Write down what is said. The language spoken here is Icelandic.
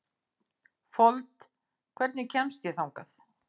Fold, hvernig kemst ég þangað?